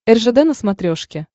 ржд на смотрешке